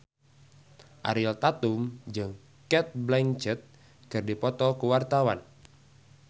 Ariel Tatum jeung Cate Blanchett keur dipoto ku wartawan